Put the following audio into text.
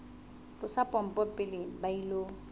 tlosa pompo pele ba ilo